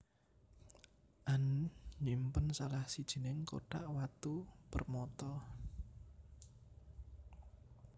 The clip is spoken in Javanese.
Anne nyimpen salah sijining kothak watu permata